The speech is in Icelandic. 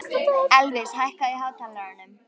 Elvis, hækkaðu í hátalaranum.